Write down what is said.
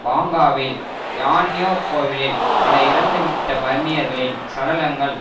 பாங்காவில் யான்யோ கோவிலில் பல இறந்துவிட்ட பர்மியர்களின் சடலங்கள்